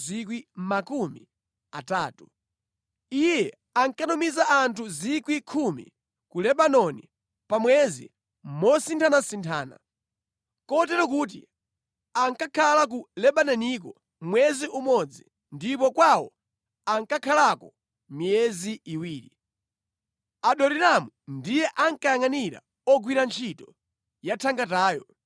Iye ankatumiza anthu 10,000 ku Lebanoni pa mwezi mosinthanasinthana, kotero kuti ankakhala ku Lebanoniko mwezi umodzi ndipo kwawo ankakhalako miyezi iwiri. Adoniramu ndiye ankayangʼanira ogwira ntchito yathangatayo.